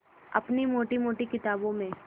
अपनी मोटी मोटी किताबों में